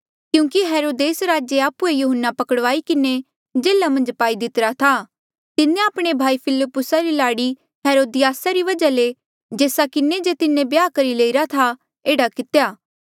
क्यूंकि हेरोदेस राजे आप्हुए यहून्ना पकड़ाई किन्हें जेल्हा मन्झ पाई दितिरा था तिन्हें आपणे भाई फिलिप्पुसा री लाड़ी हेरोदियासा री वजहा ले जेस्सा किन्हें जे तिन्हें ब्याह करी लईरा था एह्ड़ा कितेया